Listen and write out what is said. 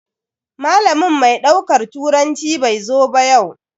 Malamin mai daukar turanci bai zo ba yau.